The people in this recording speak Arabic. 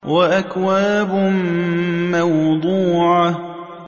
وَأَكْوَابٌ مَّوْضُوعَةٌ